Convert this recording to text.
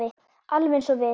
Alveg eins og við.